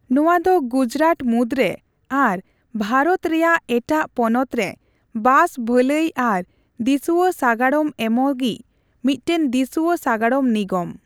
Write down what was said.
ᱱᱚᱣᱟ ᱫᱚ ᱜᱩᱡᱽᱨᱟᱴ ᱢᱩᱫᱽᱨᱮ ᱟᱨ ᱵᱷᱟᱨᱚᱛ ᱨᱮᱭᱟᱜ ᱮᱴᱟᱜ ᱯᱚᱱᱚᱛᱨᱮ ᱵᱟᱥ ᱵᱷᱟᱹᱞᱟᱹᱭ ᱟᱨ ᱫᱤᱥᱩᱣᱟ ᱥᱟᱜᱟᱲᱚᱢ ᱮᱢᱚᱜᱤᱡᱽ ᱢᱤᱫᱴᱟᱝ ᱫᱤᱥᱩᱣᱟ ᱥᱟᱜᱟᱲᱚᱢ ᱱᱤᱜᱚᱢ ᱾